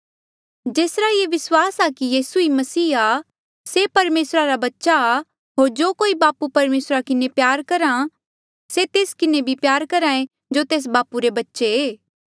जेसरा ये विस्वास आ कि यीसू ई मसीह ऐें से परमेसरा रा बच्चा आ होर जो कोई बापू परमेसरा किन्हें प्यार करहा से तेस किन्हें भी प्यार करहा ऐें जो तेस बापू रे बच्चे ऐें